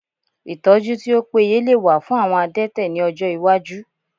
Ìtọ́jú tí ó péye lè wà fún àwọn adẹ́tẹ̀ ní ọjọ́ iwájú